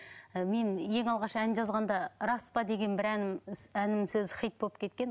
ы мен ең алғаш ән жазғанда рас па деген бір әнім әннің сөзі хит болып кеткен